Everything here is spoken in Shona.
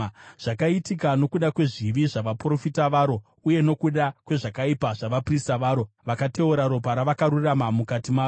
Zvakaitika nokuda kwezvivi zvavaprofita varo uye nokuda kwezvakaipa zvavaprista varo, vakateura ropa ravakarurama mukati maro.